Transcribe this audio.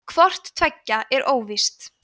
hvort tveggja er óvíst